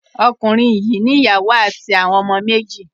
Okùnrin yìí ní ìyàwó àti àwọn ọmọ méjì.